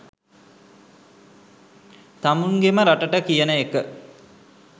තමුන්ගෙම රටට කියන එක.